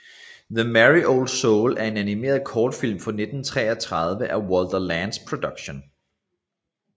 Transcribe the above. The Merry Old Soul er en animeret kortfilm fra 1933 af Walter Lantz Productions